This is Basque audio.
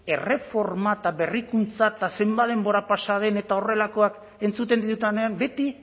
erreforma eta berrikuntza eta zenbat denbora pasa den eta horrelakoak entzuten ditudanean beti